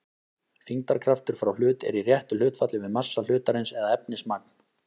Þyngdarkraftur frá hlut er í réttu hlutfalli við massa hlutarins eða efnismagn.